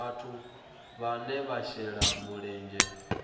vhathu vhane vha shela mulenzhe